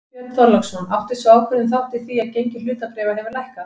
Björn Þorláksson: Átti sú ákvörðun þátt í því að gengi hlutabréfa hefur lækkað?